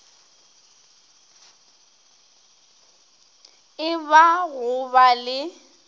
e ba go ba le